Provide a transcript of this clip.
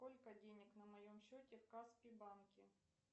сколько денег на моем счете в каспи банке